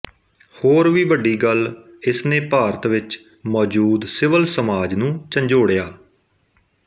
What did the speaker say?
ਹੋਰ ਵੀ ਵੱਡੀ ਗੱਲ ਇਸਨੇ ਭਾਰਤ ਵਿੱਚ ਮੌਜੂਦ ਸਿਵਲ ਸਮਾਜ ਨੂੰ ਝੰਜੋੜਿਆ